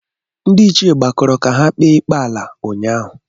Ndị ichie gbakọrọ ka ha kpee ikpe ala ụnyaahụ.